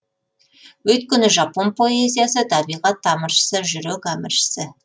өйткені жапон поэзиясы табиғат тамыршысы жүрек әміршісі